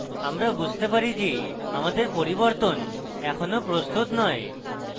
আমরা বুঝতে পারি যে আমাদের পরিবর্তন এখনো প্রস্তুত নয়